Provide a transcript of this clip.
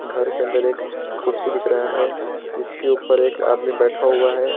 घर के अंदर एक कुर्सी दिख रहा है जिसके ऊपर एक आदमी बैठा हुआ है।